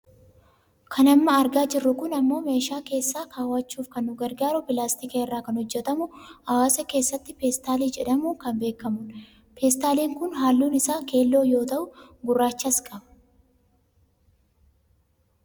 Kan amma argaa jirru kun ammoo meeshaa keessa kaawwachuuf kan nu gargaaru pilaastika irraa kan hojjatamu hawaasa keessatti peestaalii jedhamuun kan beekkamudha. Peestaaliin kun halluun isaa keelloo yoo tu'u gurraachas qaba.